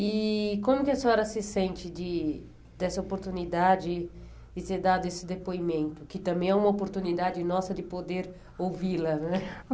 E como que a senhora se sente de dessa oportunidade de ter dado esse depoimento, que também é uma oportunidade nossa de poder ouvi-la né?